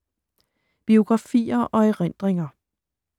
Biografier og erindringer